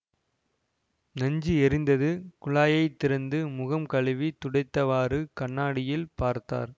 நெஞ்சு எரிந்தது குழாயைத் திறந்து முகம் கழுவித் துடைத்தவாறு கண்ணாடியில் பார்த்தார்